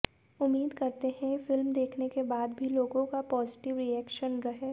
उम्मीद करते हैं फ़िल्म देखने के बाद भी लोगों का पॉजिटिव रिएक्शन रहे